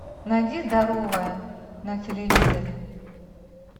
найди здоровое на телевизоре